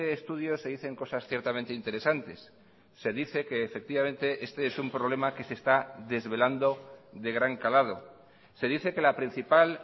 estudio se dicen cosas ciertamente interesantes se dice que efectivamente este es un problema que se está desvelando de gran calado se dice que la principal